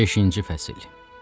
Beşinci fəsil.